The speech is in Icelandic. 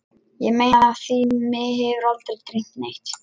Ég meina af því mig hefur aldrei dreymt neitt.